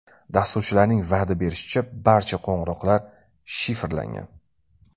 Dasturchilarning va’da berishicha, barcha qo‘ng‘iroqlar shifrlangan.